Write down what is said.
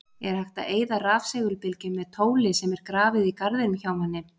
Er hægt að eyða rafsegulbylgjum með tóli sem er grafið í garðinum hjá manni?